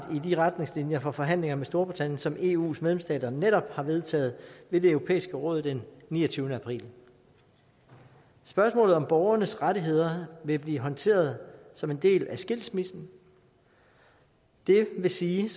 i de retningslinjer for forhandlinger med storbritannien som eus medlemsstater netop har vedtaget ved det europæiske råd den niogtyvende april spørgsmålet om borgernes rettigheder vil blive håndteret som en del af skilsmissen det vil sige